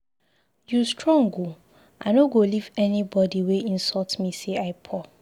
You strong oo, I no go leave anybody wey insult me say I poor.